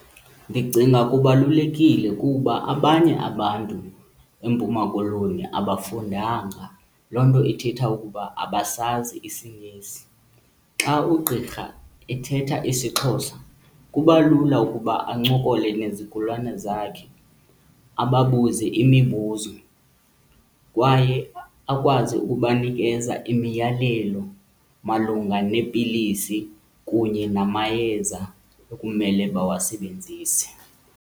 Ndicinga kubalulekile kuba abanye abantu eMpuma Koloni abafundanga, loo nto ithetha ukuba abasazi isiNgesi. Xa ugqirha ethetha isiXhosa kuba lula ukuba ancokole nezigulane zakhe ababuze imibuzo kwaye akwazi ukubanikeza imiyalelo malunga neepilisi kunye namayeza ekumele bawasebenzise.